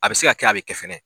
A bɛ se ka kɛ a bɛ kɛ fɛnɛ